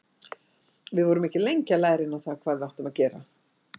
Við vorum ekki lengi að læra inn á það hvað við áttum að gera.